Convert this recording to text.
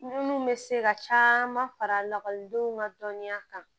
Munnu bɛ se ka caman fara lakɔlidenw ka dɔnniya kan